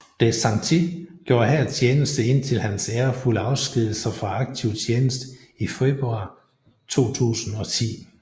DeSantis gjorde her tjeneste indtil hans ærefulde afskedigelse fra aktiv tjeneste i februar 2010